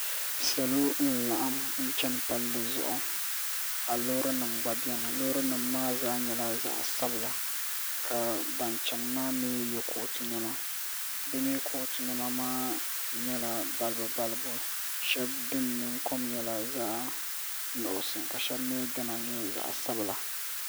Salo n laɣim n chɛni palli zuɣu ka loori nima gba bɛni loori nima maa zaa nyɛla zaɣi sabila ka bani chɛni maa mi yiɛ kootu nɛma bi mi kootu nɛma maa yɛla balibu balibu shɛba dini nina kom yɛla zaɣi nuɣiso ka shɛba mi di na yɛ zaɣi sabila.